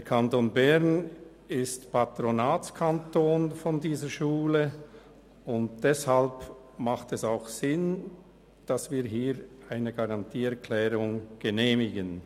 Der Kanton Bern ist Patronatskanton dieser Schule, und deshalb macht es auch Sinn, dass wir eine Garantieerklärung genehmigen.